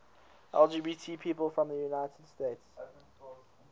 lgbt people from the united states